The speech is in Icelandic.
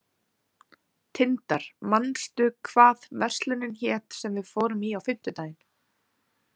Tindar, manstu hvað verslunin hét sem við fórum í á fimmtudaginn?